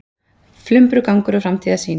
Flumbrugangur og framtíðarsýn